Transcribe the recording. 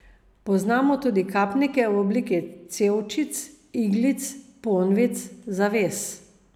Poznamo tudi kapnike v obliki cevčic, iglic, ponvic, zaves...